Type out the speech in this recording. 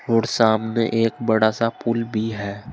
और सामने एक बड़ा सा पुल भी है।